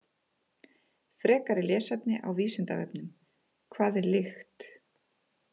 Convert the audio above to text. Frekara lesefni á Vísindavefnum: Hvað er lykt?